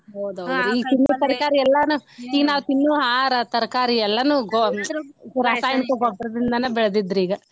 ಹೌದ್ ಹೌದ್ರಿ ಈಗ ತಿನ್ನೋ ತರಕಾರಿ ಎಲ್ಲಾನು ಈಗ ನಾವ ತಿನ್ನು ಆಹಾರ ತರಕಾರಿ ಎಲ್ಲಾನು ಗೊ~ ರಾಸಾಯನಿಕ ಗೊಬ್ಬರದಿಂದನ ಬೆಳದಿದ್ದರಿ ಈಗ.